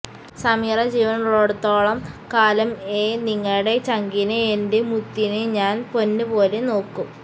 സമീറ ജീവനുള്ളടുത്തോളം കാലംഎ നിങ്ങടെ ചങ്കിനെ എന്റെ മുത്തിനെ ഞാൻ പൊന്നുപോലെ നോക്കും